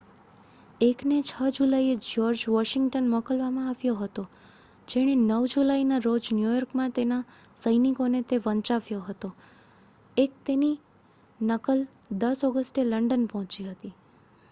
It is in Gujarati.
1 ને 6 જુલાઈએ જ્યોર્જ વોશિંગ્ટન મોકલવામાં આવ્યો હતો જેણે 9 જુલાઈના રોજ ન્યૂયોર્કમાં તેના સૈનિકોને તે વંચાવ્યો હતો તેની એક નકલ 10 ઓગસ્ટે લંડન પહોંચી હતી